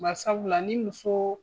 Barisabula ni muso